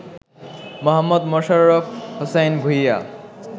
Mohammad Mosharraf Hossain Bhuiyan